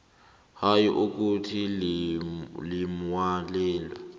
hayi ukuthi limlayelo